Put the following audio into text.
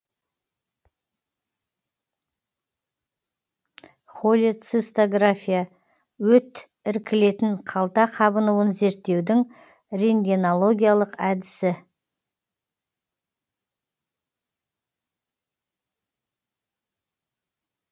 холецистография өт іркілетін қалта қабынуын зерттеудің рентгенологиялық әдісі